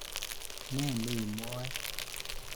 Ne nei mwoe?